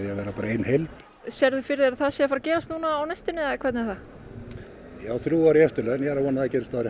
að vera ein heild sérðu fyrir þér að það gerist á næstunni ég á þrjú ár í eftirlaun ég vona að það gerist áður